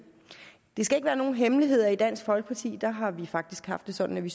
det skal ikke være nogen hemmelighed at i dansk folkeparti har vi faktisk haft det sådan at vi